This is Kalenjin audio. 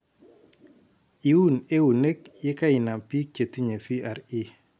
Iuun eunek yekeinam biik chetinye VRE